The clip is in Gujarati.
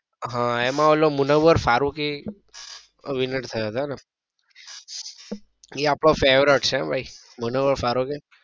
હા એમાં ઓલો મુનોવર ફારુંગી winner થયો હતો ને એ આપડો favourite છે હો ભાઈ મુનોવર ફારુંગી.